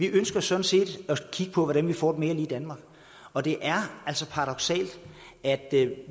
ønsker sådan set at kigge på hvordan vi får et mere lige danmark og det er altså paradoksalt at